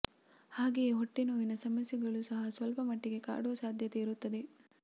ಹಾಗೆಯೇ ಹೊಟ್ಟೆ ನೋವಿನ ಸಮಸ್ಯೆಗಳು ಸಹ ಸ್ವಲ್ಪ ಮಟ್ಟಿಗೆ ಕಾಡುವ ಸಾಧ್ಯತೆ ಇರುತ್ತದೆ